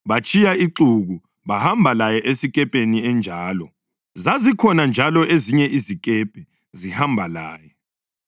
Batshiya ixuku, bahamba laye esikepeni enjalo. Zazikhona njalo ezinye izikepe zihamba laye.